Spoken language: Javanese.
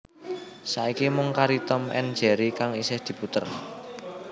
Saiki mung kari Tom and Jerry kang isih diputer